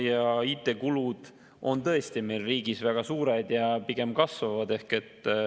Ja IT-kulud on tõesti meie riigis väga suured ja pigem kasvavad.